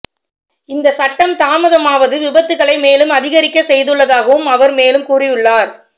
இந்த சட்டம் தாமதமாவது விபத்துக்களை மேலும் அதிகரிக்கச் செய்துள்ளதாகவும் அவர் மேலும் கூறியுள்ளார்